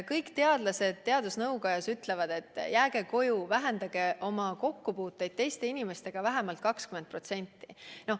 Kõik teadlased teadusnõukojas ütlevad, et jääge koju, vähendage oma kokkupuuteid teiste inimestega vähemalt 20%.